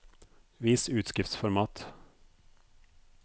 Vis utskriftsformat